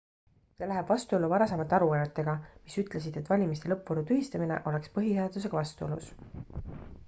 see läheb vastuollu varasemate aruannetega mis ütlesid et valimiste lõppvooru tühistamine oleks põhiseadusega vastuolus